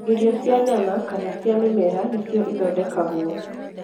Irio cia nyama kana cia mĩmera nĩcio ithondekagwo.